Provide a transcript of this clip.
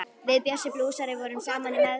Við Bjössi blúsari vorum saman í meðferð.